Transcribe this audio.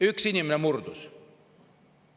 Üks inimene murdus.